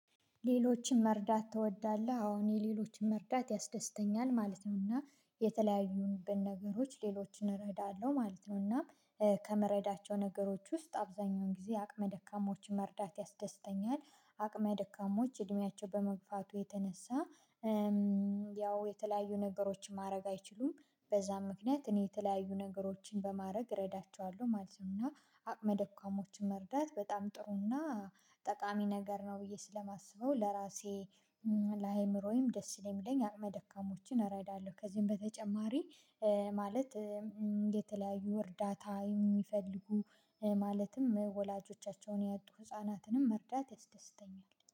ሌሎችን መርዳት ትወዳለህ? አዎ እኔ ሌሎችን መርዳት ያስደስተኛል ማለት ነውና የተለያዩብን ነገሮች ሌሎችን እረዳለሁ ማለት ነው እና ከምረዳቸው ነገሮች ውስጥ አብዛኛውን ጊዜ አቅመ ደካማዎችን መርዳት ያስደስተኛል አቅመ ደካሞች እድሜያቸው በመግፋቱ የተነሳ ያው የተለያዩ ነገሮችን ማድረግ አይችሉም በዛም ምክንያት እኔ የተለያዩ ነገሮችን በማድረግ እረዳቸዋለሁ ማለት ነው እና አቅመ ደካሞችን መርዳት በጣም ጥሩ እና ጠቃሚ ነገር ነው ብዬ ስለማስበው ለራሴ ለአእምሮዬም ደስ ስለሚለኝ አቅመ ደካሞችን እረዳለሁ ከዚህም በተጨማሪ ማለት እንደተለያዩ እርዳታ የሚፈልጉ ማለትም ወላጆቻቸውን ያጡ ህፃናትንም መርዳት ይስደስተኛል